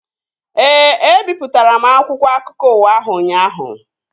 Ee, ebipụtara m akwụkwọ akụkọ ụwa ahụ ụnyaahụ